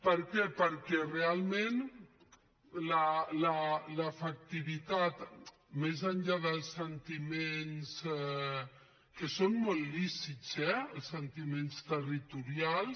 per què perquè realment l’efectivitat més enllà dels sentiments que són molt lícits eh els sentiments territorials